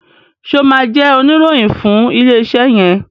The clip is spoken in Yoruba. ṣe o má jé Oníròhìn fún ilé iṣé yen?